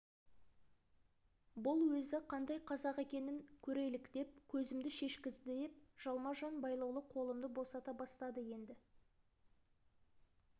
бұл өзі қандай қазақ екен көрелік деп көзімді шешкізді деп жалма-жан байлаулы қолымды босата бастады енді